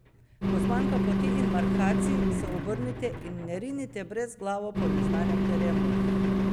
Ko zmanjka poti in markacij, se obrnite in ne rinite brezglavo po neznanem terenu!